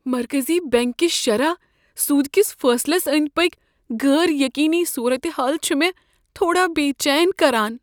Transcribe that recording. مرکزی بیٚنٛک کس شرح سود کس فٲصلس أنٛدۍ پٔکۍ غٲر یقینی صورتحال چھ مےٚ تھوڑا بےچین کران۔